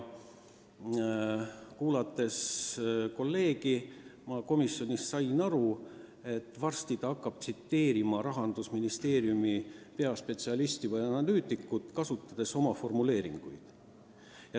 Kuulates tookord oma kolleegi, ma sain aru, et peagi hakkab ta tsiteerima Rahandusministeeriumi peaspetsialisti või analüütikut, kasutades oma formuleeringuid.